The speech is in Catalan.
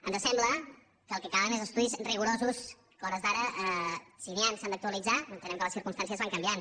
ens sembla que el que cal són estudis rigorosos que a hores d’ara si n’hi han s’han d’actualitzar entenem que les circumstàncies van canviant